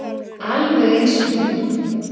Alveg eins og hún.